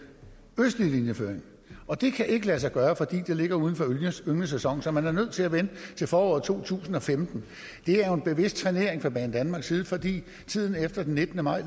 østlige linjeføring og det kan ikke lade sig gøre fordi det ligger uden for ynglesæsonen så man er nødt til at vente til foråret to tusind og femten det er jo en bevidst trænering fra banedanmarks side fordi tiden efter den nittende maj